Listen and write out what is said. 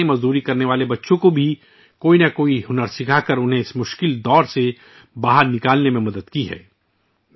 اس تنظیم نے child labour میں پھنسے بچوں کو کوئی نہ کوئی ہنر سکھا کر ، اس چکر سے نکلنے میں بھی مدد کی ہے